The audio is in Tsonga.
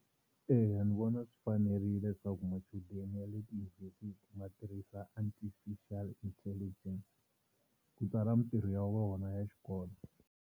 Eya ni vona swi fanerile leswaku machudeni ya le tiyunivhesiti ma tirhisa Artificial Intelligence ku tsala mintirho ya vona ya xikolo.